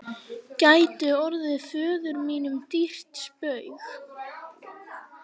gæti orðið föður mínum dýrt spaug.